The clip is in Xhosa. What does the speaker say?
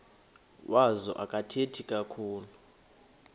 wazo akathethi kakhulu